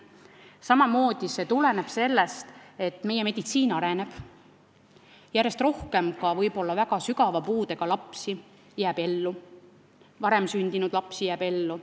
Samamoodi tuleneb see sellest, et meie meditsiin areneb ja järjest rohkem ka võib-olla väga sügava puudega lapsi ja enneaegselt sündinud lapsi jääb ellu.